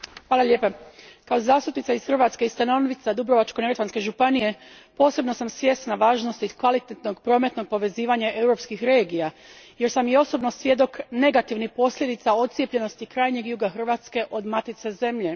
Gospodine Predsjedniče, kao zastupnica iz Hrvatske i stanovnica Duborvačko neretvanske županije posebno sam svjesna važnosti kvalitetnog prometnog povezivanja europskih regija jer sam i osobno svjedok negativnih posljedica odcijepljenosti krajnjeg juga Hrvatske od matice zemlje.